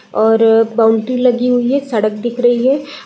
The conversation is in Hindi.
और अ बाउंड्री लगी हुई है। सड़क दिख रही है ।